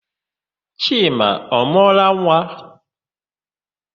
Chima ọ mụọla nwa?